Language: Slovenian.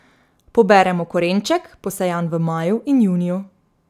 Poberemo korenček, posejan v maju in juniju.